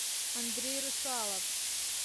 андрей русалов